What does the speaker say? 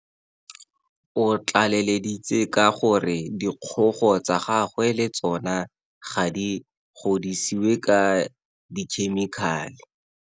O tlaleleditse ka gore dikgogo tsa gagwe le tsona ga di godisiwe ka dikhemikhale.